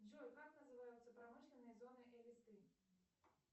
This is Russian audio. джой как называются промышленные зоны и листы